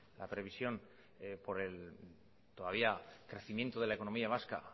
la previsión por el todavía crecimiento de la economía vasca